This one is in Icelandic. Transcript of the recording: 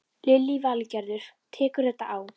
Lillý Valgerður: Tekur þetta á?